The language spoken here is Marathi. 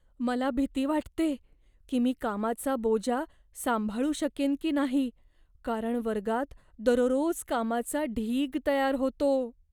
मला भीती वाटते की मी कामाचा बोजा सांभाळू शकेन की नाही, कारण वर्गात दररोज कामाचा ढीग तयार होतो.